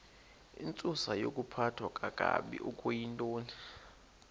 intsusayokuphathwa kakabi okuyintoni